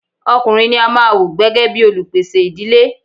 Ọkùnrin ní a máà wò gbẹ́gẹ́ bìí olupèsè ìdílé.